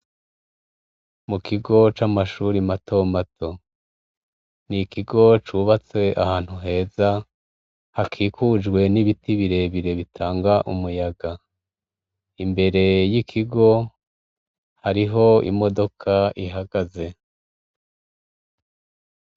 Mu kigo c'amashuri mato mato. Ni ikigo cubatse ahantu heza, hakikujwe n' ibiti birebire bitanga umuyaga . Imbere y' ikigo, hariho imodoka ihagaze.